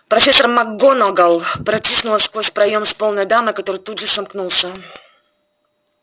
профессор макгонагалл протиснулась сквозь проем с полной дамой который тут же сомкнулся